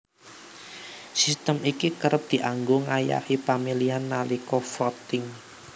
Sistem iki kerep dianggo ngayahi pamilihan nalika voting